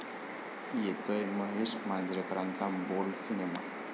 येतोय महेश मांजरेकरांचा bold cinema!